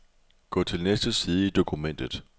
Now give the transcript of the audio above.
Gå til næste side i dokumentet.